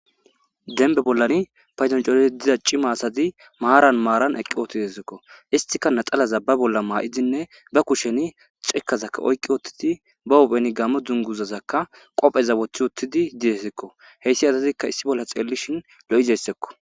Demba bollani paydon coridi diza cima asati maaran maaran eqqi uttidakko istika naxalaza ba bolla ma'idinne ba kushen cikkazaka oyki uttidi ba hupheni gamo dunguzazakka qoofeza wothi uttidi deetesikko. Heyssi asatikka issi bolla xeellishin lo'izasakko.